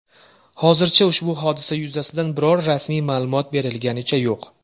Hozircha ushbu hodisa yuzasidan biror rasmiy ma’lumot berilganicha yo‘q.